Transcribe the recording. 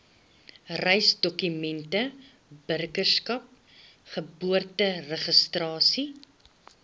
reisdokumente burgerskap geboorteregistrasie